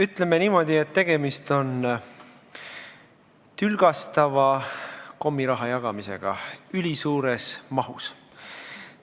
Ütleme niimoodi, et tegemist on tülgastava kommiraha jagamisega ülisuures mahus.